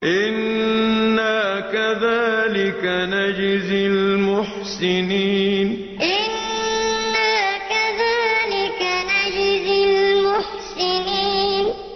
إِنَّا كَذَٰلِكَ نَجْزِي الْمُحْسِنِينَ إِنَّا كَذَٰلِكَ نَجْزِي الْمُحْسِنِينَ